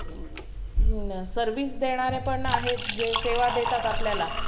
service देणारे पण आहेत जे सेवा देतात आपल्याला